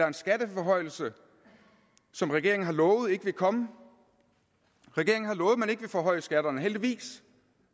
en skatteforhøjelse som regeringen har lovet ikke vil komme regeringen har lovet at man ikke vil forhøje skatterne heldigvis